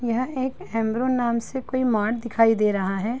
यह एक हैम्ब्रो नाम से कोई मार्ट दिखाई दे रहा है।